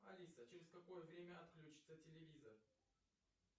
алиса через какое время отключится телевизор